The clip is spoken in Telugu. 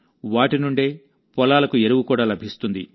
వాటి నుండే పొలాలకు ఎరువు కూడా లభిస్తుంది